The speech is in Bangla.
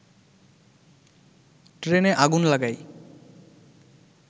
ট্রেনে আগুন লাগায়